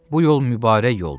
Bu yol mübarək yoldur.